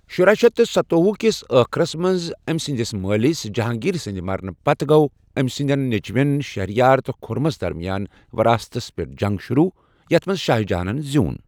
شُراہ شیٚتھ تہٕ ستووُہ کسِ ٲخرس منٛز أمۍ سٕنٛدِس مٲلِس، جہانٛگیٖر سٕنٛدِ مرنہٕ پتہٕ گوٚو أمۍ سٕنٛدٮ۪ن نیٚچوٮ۪ن، شہریار تہٕ خُرَمس درمِیان وَراثتس پٮ۪ٹھ جنٛگ شُروٗع، یتھ منٛز شاہ جہانن زیٛوٗن۔